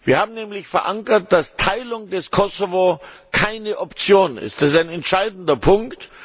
Wir haben nämlich verankert, dass die Teilung des Kosovo keine Option ist. Das ist ein entscheidender Punkt.